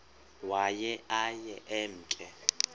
waye aye emke